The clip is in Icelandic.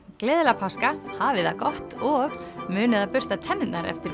gleðilega páska hafið það gott og munið að bursta tennurnar eftir